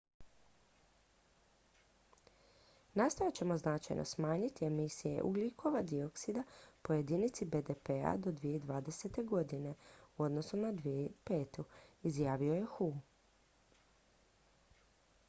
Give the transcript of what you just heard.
"""nastojat ćemo značajno smanjiti emisije ugljikova dioksida po jedinici bdp-a do 2020. godine u odnosu na 2005." izjavio je hu.